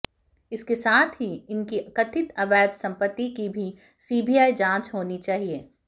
इसके साथ ही इनकी कथित अवैध संपत्ति की भी सीबीआई जांच होनी चाहिए